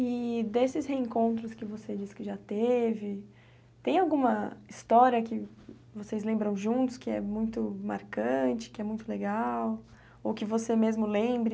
E desses reencontros que você disse que já teve, tem alguma história que vocês lembram juntos que é muito marcante, que é muito legal, ou que você mesmo lembre?